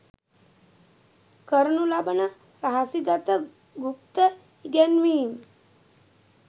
කරනු ලබන රහසිගත ගුප්ත ඉගැන්වීම්